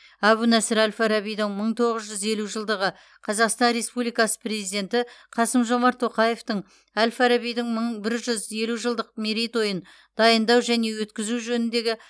әбу насыр әл фарабидің мың тоғыз жүз елу жылдығы қазақстан республикасы президенті қасым жомарт тоқаевтың әл фарабидің мың бір жүз елу жылдық мерейтойын дайындау және өткізу жөніндегі